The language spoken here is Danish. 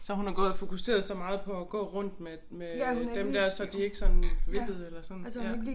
Så hun har gået og fokuseret så meget på at gå rundt med med dem der så de ikke sådan væltede eller sådan ja